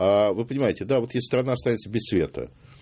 вы понимаете да если страна останется без света